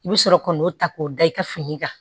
I bɛ sɔrɔ ka n'o ta k'o da i ka fini kan